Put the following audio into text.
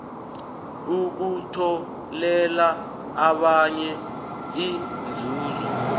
ukutholela abanye inzuzo